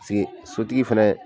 sigi sotigi fɛnɛ